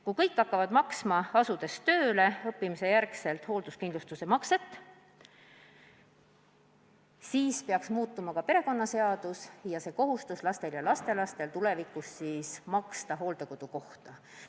Kui kõik hakkavad pärast seda, kui on õpingute lõpetamise järel tööle hakanud, maksma hoolduskindlustuse makset, siis peaks muutma ka perekonnaseadust, kus pannakse lastele ja lastelastele kohustus tulevikus maksta lähedase inimese hooldekodukoha eest.